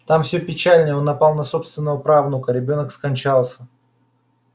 там все печальнее он напал на собственного правнука ребёнок скончался